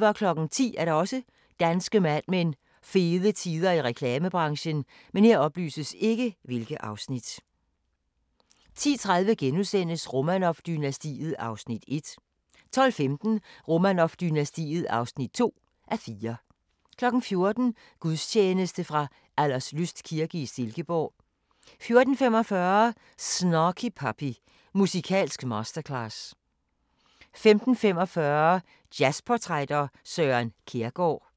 i reklamebranchen 10:00: Danske Mad Men: Fede tider i reklamebranchen 10:30: Romanov-dynastiet (1:4)* 12:15: Romanov-dynastiet (2:4) 14:00: Gudstjeneste fra Alderslyst kirke i Silkeborg 14:45: Snarky Puppy – Musikalsk masterclass 15:45: Jazz-portrætter – Søren Kjærgaard